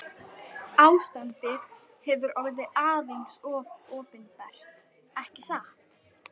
Ástandið hefur orðið aðeins of opinbert ekki satt?